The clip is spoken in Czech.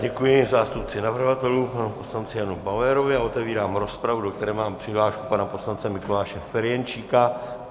Děkuji zástupci navrhovatelů panu poslanci Janu Bauerovi a otevírám rozpravu, do které mám přihlášku pana poslance Mikuláše Ferjenčíka.